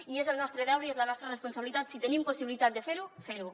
i és el nostre deure i és la nostra responsabilitat si tenim possibilitat de fer ho fer ho